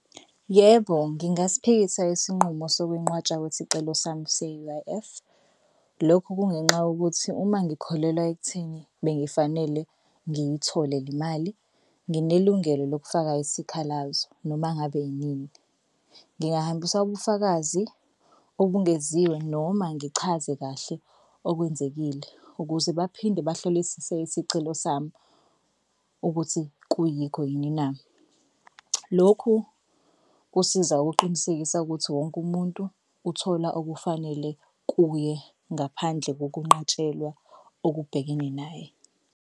Yebo, ngingasiphikisa isinqumo sokwenqatshwa kwesicelo sami se-U_I_F. Lokho kungenxa ngokuthi uma ngikholelwa ekutheni bengifanele ngiyithole le mali nginelungelo lokufaka isikhalazo noma ngabe yini ngingahambisa ubufakazi obungeziwe noma ngichaze kahle okwenzekile ukuze baphinde bahlolisise isicelo sami ukuthi kuyikho yinina. Lokhu kusiza ukuqinisekisa ukuthi wonke umuntu uthola okufanele kuye ngaphandle kokunqatshelwa okubhekene naye.